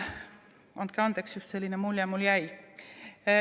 Andke andeks, just selline mulje mulle jäi.